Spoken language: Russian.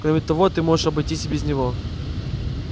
кроме того ты можешь обойтись и без него